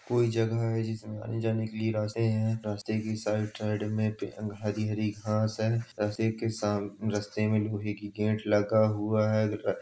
कोई जगह है जिसमें आने जाने के लिए रास्ते हैं | रास्ते के साइड-साइड में पे हरी-हरी घास है रास्ते के साम रास्ते में लोहे की गेट लगा हुआ है।